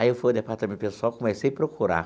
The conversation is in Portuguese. Aí fui no Departamento Pessoal, comecei procurar.